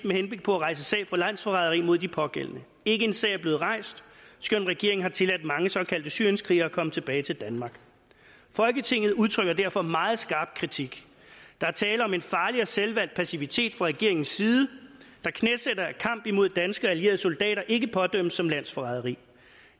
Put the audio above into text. med henblik på at rejse sag for landsforræderi mod de pågældende ikke en sag er blevet rejst skønt regeringen har tilladt mange såkaldte syrienskrigere at komme tilbage til danmark folketinget udtrykker derfor meget skarp kritik der er tale om en farlig og selvvalgt passivitet fra regeringens side der knæsætter at kamp imod danske og allierede soldater ikke pådømmes som landsforræderi